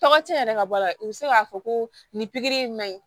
Tɔgɔ tiɲɛna ka bɔ a la u bɛ se k'a fɔ ko nin pikiri in ma ɲi